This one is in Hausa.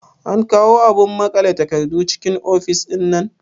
An kawo abun maƙale takardu cikin ofis ɗinnan?